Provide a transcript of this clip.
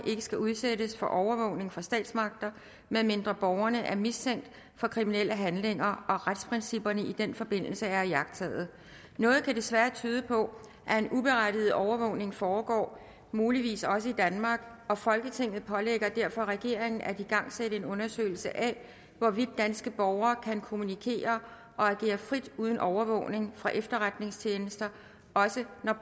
ikke skal udsættes for overvågning fra statsmagter medmindre borgerne er mistænkt for kriminelle handlinger og retsprincipperne i den forbindelse er iagttaget noget kan desværre tyde på at en uberettiget overvågning foregår muligvis også i danmark og folketinget pålægger derfor regeringen at igangsætte en undersøgelse af hvorvidt danske borgere kan kommunikere og agere frit uden overvågning fra efterretningstjenester også når